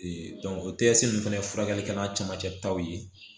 o fana furakɛli kɛ n'a camancɛ taw ye